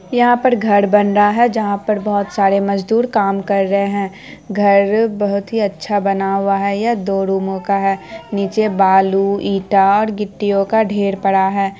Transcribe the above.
यहाँ पर घर बन रहा जहा पर बहुत सारे मजदुर काम कर रहे है घर बहुत ही अच्छा बना हुआ है यह दो रुमो का है नीचे बालू ईटा और गिट्टियो का ढेर पड़ा है।